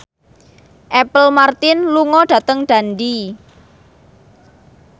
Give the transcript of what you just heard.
Apple Martin lunga dhateng Dundee